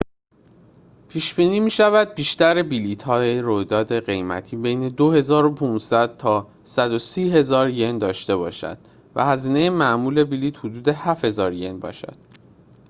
پیش‌بینی می‌شود بیشتر بلیط‌های رویداد قیمتی بین 2500 تا 130،000 ین داشته باشند و هزینه معمول بلیط حدود 7000 ین باشد